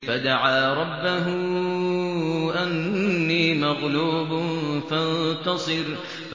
فَدَعَا رَبَّهُ أَنِّي مَغْلُوبٌ فَانتَصِرْ